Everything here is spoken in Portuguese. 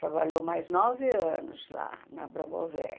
Trabalhou mais nove anos lá na Promover.